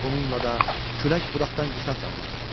Bununla da külək budaqdan qisas almaq istəyirdi.